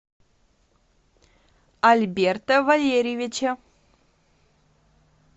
альберта валерьевича